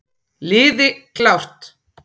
Liði klárt!